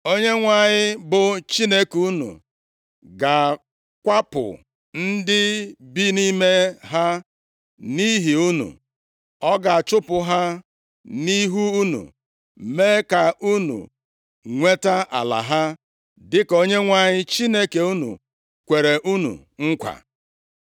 Onyenwe anyị bụ Chineke unu ga-akwapụ ndị bi nʼime ha nʼihi unu. Ọ ga-achụpụ ha nʼihu unu, mee ka unu nweta ala ha, dịka Onyenwe anyị Chineke unu kwere unu nkwa.